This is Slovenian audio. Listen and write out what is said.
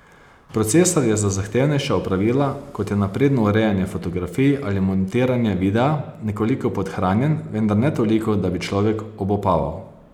Procesor je za zahtevnejša opravila, kot je napredno urejanje fotografij ali montiranje videa, nekoliko podhranjen, vendar ne toliko, da bi človek obupaval.